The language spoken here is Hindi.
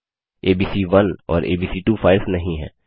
एबीसी1 और एबीसी2 फाइल्स नहीं हैं